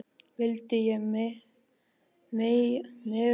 vildi ég mega minnast þín.